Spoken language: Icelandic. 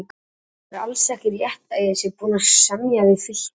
Það er alls ekki rétt að ég sé búinn að semja við Fylki.